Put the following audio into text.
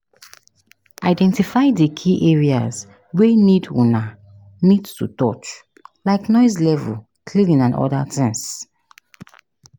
Identify di key areas wey need una need to touch, like noise level, cleaning and oda things